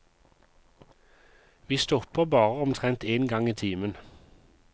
Vi stopper bare omtrent en gang i timen.